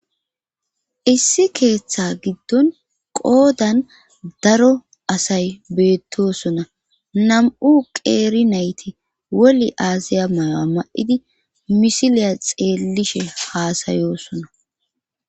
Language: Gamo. issi keeththa giddon qoodan daro asay beettosona nam7u qeeri nayti woli aaziya mayo7a ma7idi misiliya xeellishe haasayosona